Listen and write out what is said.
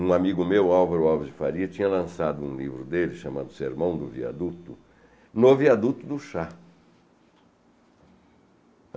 Um amigo meu, Álvaro Alves de Faria, tinha lançado um livro dele chamado Sermão do Viaduto, no viaduto do chá.